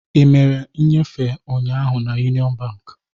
Ị mere nnyefe ụnyaahụ na Union Bank?